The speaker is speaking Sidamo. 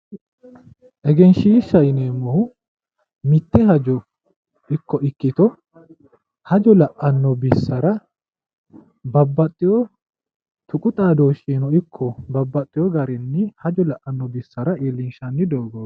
Egenshiishshaho yineemmohu mitte hajo ikko ikkito hajo la'anno bissara babbaxxewo tuqu xaadooshshira ikko babbaxxewo garinni hajo la'anno bissara iillinshanni dogooti.